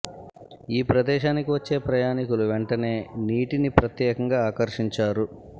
ఈ ప్రదేశానికి వచ్చే ప్రయాణికులు వెంటనే నీటిని ప్రత్యేకంగా ఆకర్షించారు